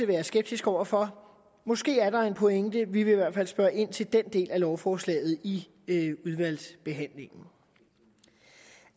være skeptisk over for måske er der en pointe vi vil i hvert fald spørge ind til den del af lovforslaget i udvalgsbehandlingen